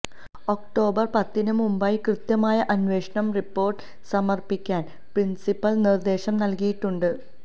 October പത്തിന് മുമ്പായി കൃത്യമായ അന്വേഷണ റിപ്പോർട്ട് സമർപ്പിക്കാൻ പ്രിൻസിപ്പൽ നിർദേശം നൽകിയിട്ടുണ്ട്